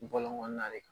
Bɔlɔn kɔnɔna de kan